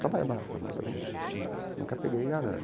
Trabalho em barraca, mas eu não nunca peguei em arame.